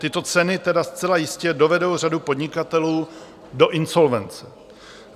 Tyto ceny tedy zcela jistě dovedou řadu podnikatelů do insolvence.